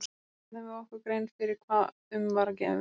Þá fyrst gerðum við okkur grein fyrir hvað um var að vera.